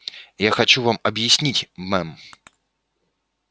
я хочу вам объяснить мэм